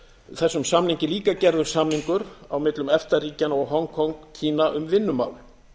þessum samningi líka gerður samningur á millum efta ríkjanna og hong kong kína um vinnumál